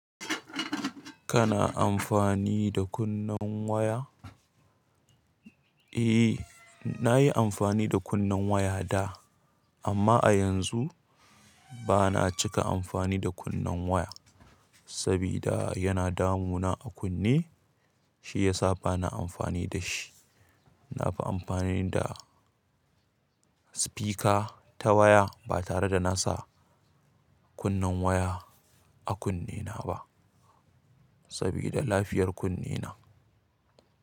Kana amfani da kunnen waya? Eh, nayi amfani da kunnen waya da, amma a yanzu ba na cika amfani da kunnen waya, sabida yana damuna a kunne, shi yasa ba na amfani da shi. Na fi amfani da speaker ta waya ba tare da na sa kunnen waya a kunnena ba, sabida lafiyar kunnena.